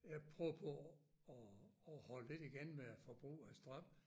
Jeg prøver på at at holde lidt igen med at forbrug af strøm